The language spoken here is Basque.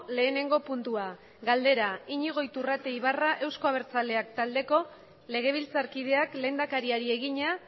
lehenengo puntua galdera iñigo iturrate ibarra euzko abertzaleak taldeko legebiltzarkideak lehendakariari egina